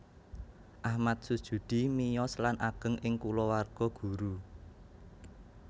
Achmad Sujudi miyos lan ageng ing kulawarga guru